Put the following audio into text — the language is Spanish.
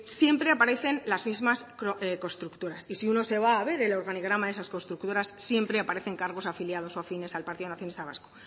siempre aparecen las mismas constructoras y si uno se va a ver el organigrama de esas constructoras siempre aparecen cargos afiliados o afines al partido nacionalista vasco